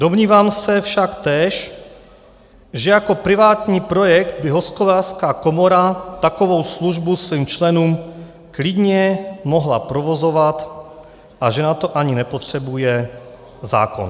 Domnívám se však též, že jako privátní projekt by Hospodářská komora takovou službu svým členům klidně mohla provozovat a že na to ani nepotřebuje zákon.